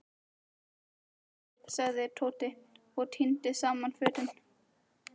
Snýttu þér sagði Tóti og tíndi saman fötin.